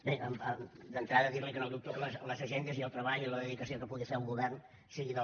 bé d’entrada dir li que no dubto que les agendes i el treball i la dedicació que pugui fer el govern sigui del